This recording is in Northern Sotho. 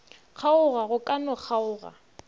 kgaoga go ka no kgaoga